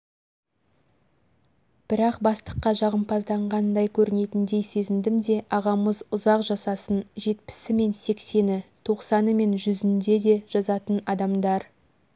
бірақ бастыққа жағымпазданғандай көрінетіндей сезіндім де ағамыз ұзақ жасасын жетпісі мен сексені тоқсаны мен жүзінде де жазатын адамдар